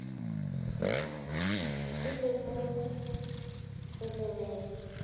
e le mo go lemeng